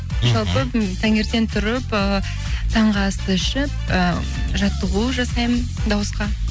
мхм жалпы м таңертең тұрып ыыы таңғы асты ішіп ы жаттығу жасаймын дауысқа